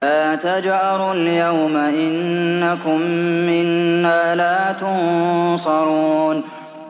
لَا تَجْأَرُوا الْيَوْمَ ۖ إِنَّكُم مِّنَّا لَا تُنصَرُونَ